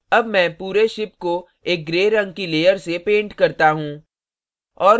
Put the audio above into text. अब मैं पूरे ship को एक gray रंग की layer से पेंट करता हूँ